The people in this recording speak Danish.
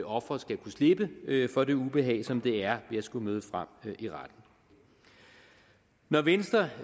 offeret skal kunne slippe for det ubehag som det er at skulle møde frem i retten når venstre